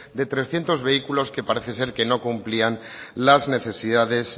de trescientos vehículos que parece ser que no cumplían las necesidades